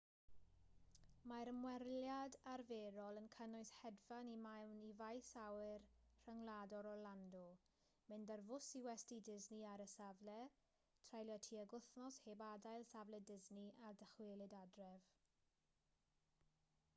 mae'r ymweliad arferol yn cynnwys hedfan i mewn i faes awyr rhyngwladol orlando mynd ar fws i westy disney ar y safle treulio tuag wythnos heb adael safle disney a dychwelyd adref